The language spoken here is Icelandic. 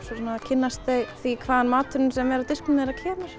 kynnast þau því hvaðan maturinn á disknum þeirra kemur